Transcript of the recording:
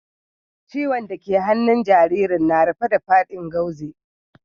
Ciwon' da ke a hannun jaririn na rufe da fadin gauze.